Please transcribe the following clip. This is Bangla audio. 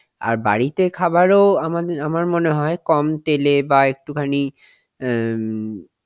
আর বাড়িতে খাবার ও আমাদে~ আমার মনে হয় কম তেলে বাহঃ একটুখানি অ্যাঁ